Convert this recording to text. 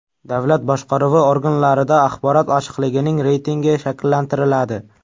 Davlat boshqaruvi organlarida axborot ochiqligining reytingi shakllantiriladi.